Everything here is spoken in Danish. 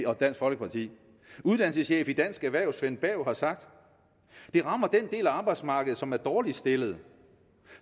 og dansk folkeparti uddannelseschef i dansk erhverv svend berg har sagt det rammer den del af arbejdsmarkedet som er dårligst stillet og